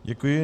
Děkuji.